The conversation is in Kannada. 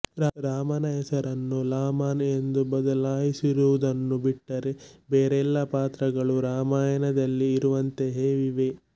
ರಾಮನ ಹೆಸರನ್ನು ಲಾಮನ್ ಎಂದು ಬದಲಾಯಿಸಿರುವುದನ್ನು ಬಿಟ್ಟರೆ ಬೇರೆಲ್ಲ ಪಾತ್ರಗಳೂ ರಾಮಾಯಣದಲ್ಲಿ ಇರುವಂತೆಯೇ ಇವೆ